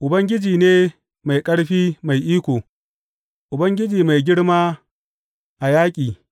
Ubangiji ne mai ƙarfi mai iko, Ubangiji mai girma a yaƙi.